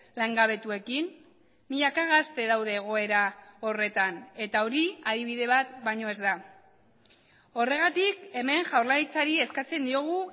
langabetuekin milaka gazte daude egoera horretan eta hori adibide bat baino ez da horregatik hemen jaurlaritzari eskatzen diogu